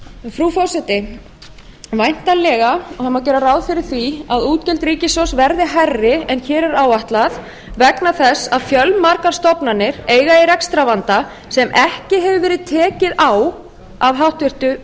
frú forseti væntanlega má gera ráð fyrir því að útgjöld ríkissjóðs verði hærri en hér er áætlað vegna þess að fjölmargar stofnanir eiga í rekstrarvanda sem ekki hefur verð tekið á af háttvirtu